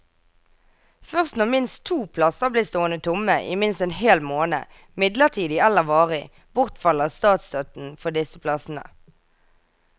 Først når minst to plasser blir stående tomme i minst en hel måned, midlertidig eller varig, bortfaller statsstøtten for disse plassene.